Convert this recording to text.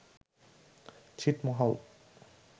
ছিটমহল